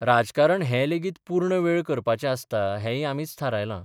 राजकारण हें लेगीत पूर्ण वेळ करपाचें आसता हेंय आमीच थारायलां.